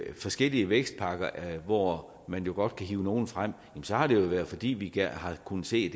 forskellige vækstpakker hvor man jo godt kan hive nogle frem så har det jo været fordi vi har kunnet se